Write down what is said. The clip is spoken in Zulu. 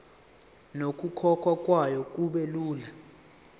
nokukhokhwa kwayo kubelula